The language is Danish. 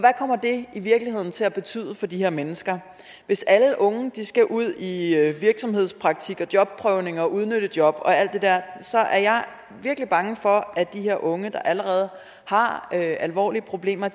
kommer det i virkeligheden til at betyde for de her mennesker hvis alle unge skal ud i i virksomhedspraktik og jobprøvning og udnyttejob og alt det der er jeg virkelig bange for at de her unge der allerede har alvorlige problemer